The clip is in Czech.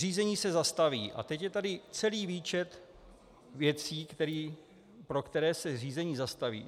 Řízení se zastaví, a teď je tady celý výčet věcí, pro které se řízení zastaví.